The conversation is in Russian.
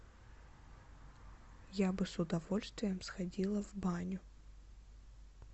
я бы с удовольствием сходила в баню